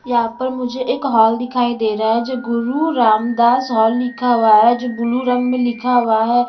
यहां पर मुझे एक हॉल दिखाई दे रहा है जो गुरु रामदास हॉल लिखा हुआ है जो ब्लू रंग में लिखा हुआ है।